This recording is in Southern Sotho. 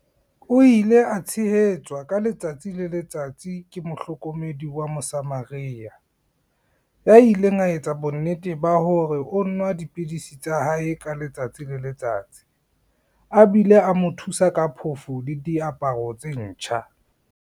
O ile a tshehetswa ka letsatsi le letsatsi ke mo hlokomedi wa Mosamaria, ya ileng a etsa bonnete ba hore o nwa dipidisi tsa hae ka letsatsi le letsatsi, a bile a mo thusa ka phofo le diaparo tse ntjha.